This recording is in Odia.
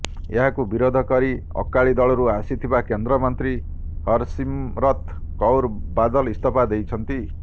ଏହାକୁ ବିରୋଧ କରି ଅକାଳି ଦଳରୁ ଆସିଥିବା କେନ୍ଦ୍ର ମନ୍ତ୍ରୀ ହରସିମରତ୍ କୌର ବାଦଲ ଇସ୍ତଫା ଦେଇଛନ୍ତି